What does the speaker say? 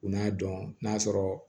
U n'a dɔn n'a sɔrɔ